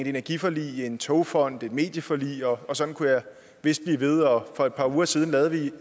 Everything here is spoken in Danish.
energiforlig togfonden medieforlig og sådan kunne jeg vist blive ved og for et par uger siden lavede vi i